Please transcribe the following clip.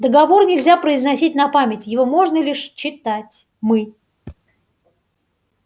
договор нельзя произносить на память его можно лишь читать мы